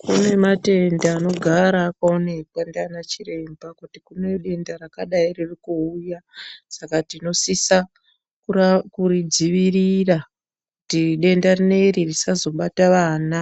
Kune matenda anogara akaonekwa ndiana chiremba kuti kune denda rakadai riri kuuya, saka tinosisa kuridzivirira kuti denda rineri risazobata vana.